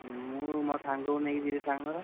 ମୁଁ ମୋ ସାଙ୍ଗକୁ ନେଇକି ଯିବି ସାଙ୍ଗର।